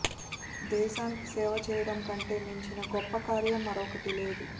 దేశానికి సేవ చేయడం కంటే మించిన గొప్ప కార్యం మరొకటి లేదు